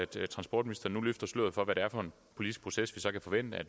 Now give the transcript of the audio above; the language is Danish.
der har spurgt om